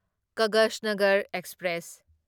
Kaghaznagar express